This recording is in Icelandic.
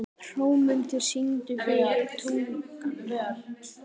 Hrómundur, syngdu fyrir mig „Tungan“.